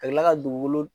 Ka kila ka dugukolo